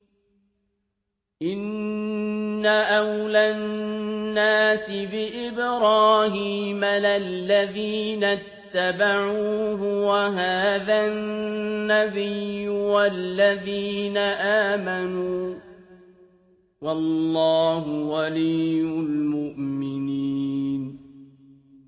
إِنَّ أَوْلَى النَّاسِ بِإِبْرَاهِيمَ لَلَّذِينَ اتَّبَعُوهُ وَهَٰذَا النَّبِيُّ وَالَّذِينَ آمَنُوا ۗ وَاللَّهُ وَلِيُّ الْمُؤْمِنِينَ